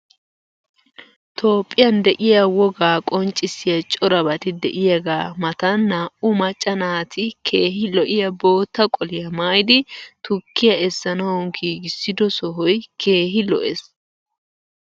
Toophiyan de'iya wogaa qonccissiya corabati de'iyaagaa matan naa"u macca naati keehi lo'iya bootta qoliya maayidi tukkiya essanawu giigissido sohoy keehi lo'ees.